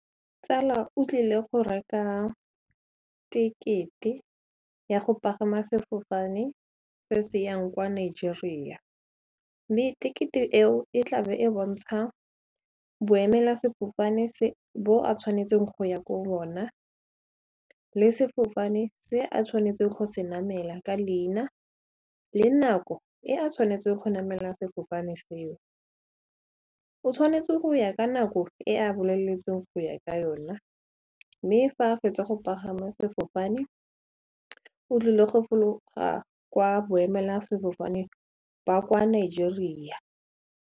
Tsala o tlile go reka tekete ya go pagama sefofane se se yang kwa Nigeria mme tekete eo e tla be e bontsha boemela-sefofane bo a tshwanetseng go ya ko bona, le sefofane se a tshwanetseng go se namela ka leina, le nako e a tshwanetseng go namela sefofane seo. O tshwanetse go ya ka nako e a boleletsweng go ya ka yona mme fa fetsa go pagama sefofane o tlile go fologa kwa boemela-sefofane ba kwa Nigeria.